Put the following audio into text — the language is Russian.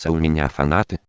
у меня